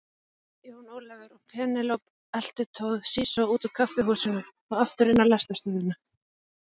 Jón Ólafur og Penélope eltu Toshizo út úr kaffihúsinu og aftur inn á lestarstöðina.